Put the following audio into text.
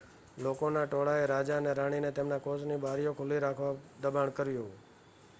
લોકોના ટોળાએ રાજા અને રાણીને તેમના કોચની બારીઓ ખુલ્લી રાખવા દબાણ કર્યું